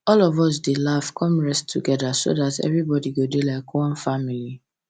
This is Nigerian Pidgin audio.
all of us dey laugh con rest together so that that everybody go dey like one family